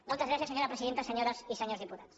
moltes gràcies senyora presidenta senyores i senyors diputats